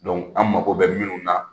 Donc an mako bɛ minnu na,